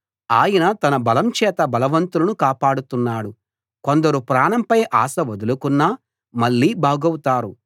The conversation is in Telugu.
ఆయన తన బలం చేత బలవంతులను కాపాడుతున్నాడు కొందరు ప్రాణంపై ఆశ వదులుకున్నా మళ్ళీ బాగవుతారు